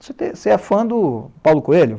Você é fã do Paulo Coelho?